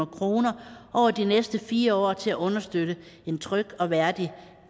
kroner over de næste fire år til at understøtte en tryg og værdig